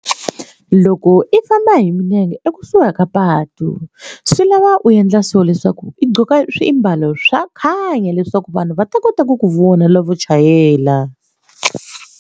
Loko i famba hi milenge ekusuhi ka patu swi lava u endla swo leswaku i gqoka swimbalo swa khanya leswaku vanhu va ta kota ku ku vona lavo chayela.